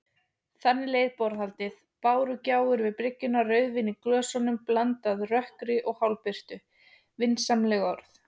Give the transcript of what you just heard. Þannig leið borðhaldið: bárugjálfur við bryggju, rauðvín í glösum, blandað rökkri og hálfbirtu, vinsamleg orð.